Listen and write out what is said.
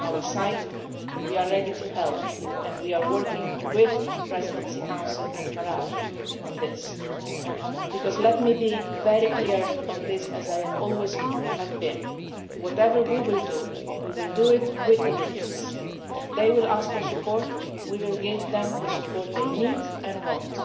On our side we are ready to help, and we are working with the Presidency Council and Fayez Sarraj on this because let me be very clear on this, as I always have been whatever we do, we will do it with the Libyans. If they ask for support, we will give them the support they need